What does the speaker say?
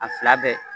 A fila bɛɛ